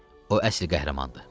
O əsl qəhrəmandır.